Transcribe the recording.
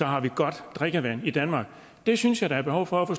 har vi godt drikkevand i danmark det synes jeg der er behov for at få